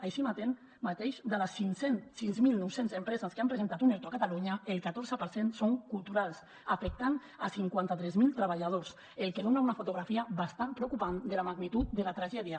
així mateix de les sis mil nou cents empreses que han presentat un erto a catalunya el catorze per cent són culturals i afecten cinquanta tres mil treballadors cosa que dona una fotografia bastant preocupant de la magnitud de la tragèdia